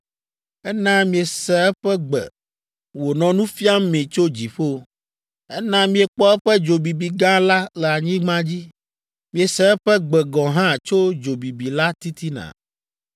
Ena miese eƒe gbe wònɔ nu fiam mi tso dziƒo. Ena miekpɔ eƒe dzo bibi gã la le anyigba dzi. Miese eƒe gbe gɔ̃ hã tso dzo bibi la titina.